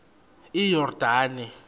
iyordane